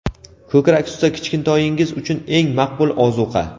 Ko‘krak suti — kichkintoyingiz uchun eng maqbul ozuqa.